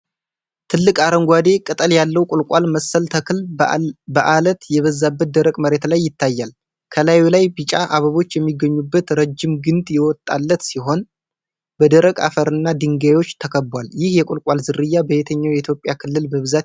ትልቅ አረንጓዴ ቅጠል ያለው ቁልቋል መሰል ተክል በአለት የበዛበት ደረቅ መሬት ላይ ይታያል። ከላዩ ላይ ቢጫ አበቦች የሚገኙበት ረጅም ግንድ የወጣለት ሲሆን፣ በደረቅ አፈርና ድንጋዮች ተከቧል። ይህ የቁልቋል ዝርያ በየትኛው የኢትዮጵያ ክልል በብዛት ይገኛል?